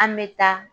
An bɛ taa